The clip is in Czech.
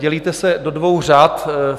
Dělíte se do dvou řad.